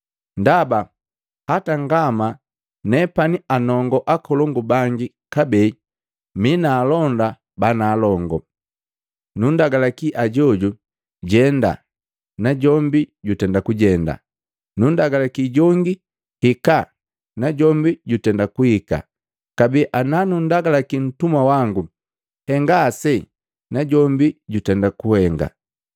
“Ndaba, hata ngama nepani anongo akolongu bangi kabee mi na alonda banaalongo. Nunndagalaki ajojo, ‘Jenda’ najombi jutenda kujenda, nunndagalaki jongi, ‘Hikaa’ najombi jutenda kuhika. Kabee ana nunndagalaki ntumwa wangu, ‘Henga ase’ najombi jutenda kuhenga.”